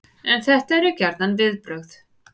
En þetta eru gjarnan viðbrögð